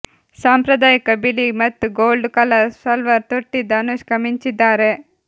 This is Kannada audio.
ಸಾಂಪ್ರದಾಯಿಕ ಬಿಳಿ ಮತ್ತು ಗೋಲ್ಡ್ ಕಲರ್ ಸಲ್ವಾರ್ ತೊಟ್ಟಿದ್ದ ಅನುಷ್ಕಾ ಮಿಂಚಿದ್ದಾರೆ